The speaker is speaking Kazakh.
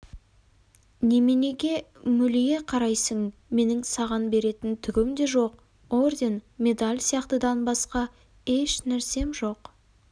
неменеге мөлие қарайсың менің саған беретін түгім де жоқ орден медаль сияқтыдан басқа еш нәрсем жоқ